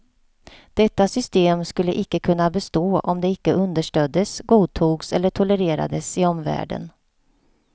Detta system skulle icke kunna bestå om det icke understöddes, godtogs eller tolererades i omvärlden.